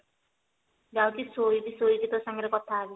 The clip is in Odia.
ଯାଉଛି ଶୋଇବି ଶୋଇକି ତୋ ସହିତ କଥା ହେବି